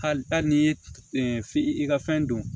Hali n'i ye i ka fɛn don